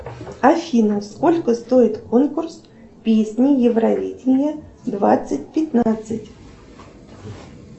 афина сколько стоит конкурс песни евровидение двадцать пятнадцать